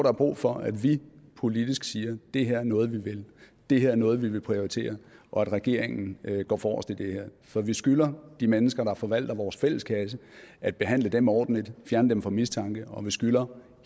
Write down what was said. er brug for at vi politisk siger at det her er noget vi vil det her er noget vi vil prioritere og at regeringen går forrest i det her for vi skylder de mennesker der forvalter vores fælleskasse at behandle dem ordentligt fjerne dem fra mistanke og vi skylder